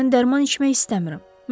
Mən dərman içmək istəmirəm.